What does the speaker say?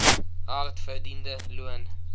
hard verdiende loon